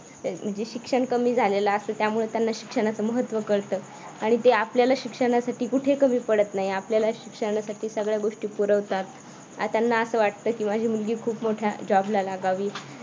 म्हणजे शिक्षण कमी झालेलं असतं त्यामुळे त्यांना शिक्षणाचे महत्त्व कळतं आणि ते आपल्याला शिक्षणासाठी कुठेही कमी पडत आपल्याला शिक्षणासाठी सगळ्या गोष्टी पुरवतात आता त्यांना असं वाटतं की माझी मुलगी खूप मोठ्या job ला लागावी